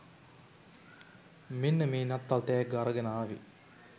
මෙන්න මේ නත්තල් තැග්ග අරගෙන ආවේ.